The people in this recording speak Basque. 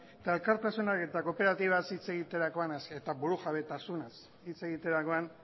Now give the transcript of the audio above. eta elkartasunak eta kooperatibaz hitz egiterakoan eta burujabetasunaz hitz egiterakoan